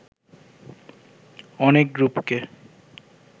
অনেক গ্রুপকে